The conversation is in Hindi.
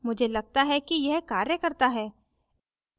मुझे लगता है कि यह कार्य करता है